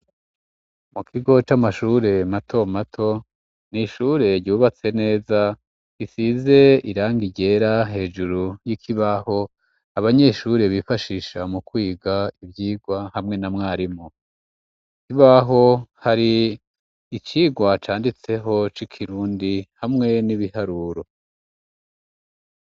Mu kigo c'amashure matomato, ni ishure ryubatse neza risize irangi ryera hejuru y'ikibaho, abanyeshure bifashisha mu kwiga ivyigwa hamwe na mwarimu. Ku kibaho hari icigwa canditseho c'ikirundi hamwe n'ibiharuro.